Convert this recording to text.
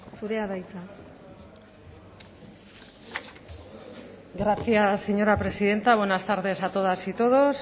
zurea da hitza gracias señora presidenta buenas tardes a todas y todos